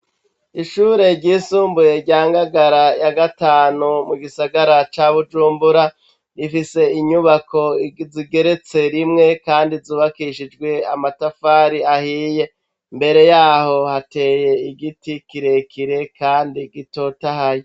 Ishure ry'isumbuye rya Ngagara ya gatanu mu gisagara ca Bujumbura, rifise inyubako zigeretse rimwe kandi zubakishijwe amatafari ahiye, mbere yaho hateye igiti kirekire kandi gitotahaye.